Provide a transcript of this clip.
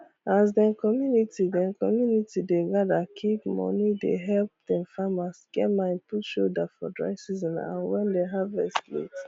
as dem community dem community dey gather keep moneye dey help dem farmers get mind put shoulder for dry season and wen dia harvest late